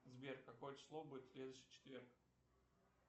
сбер какое число будет в следующий четверг